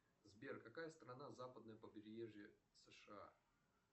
сбер какая страна западное побережье сша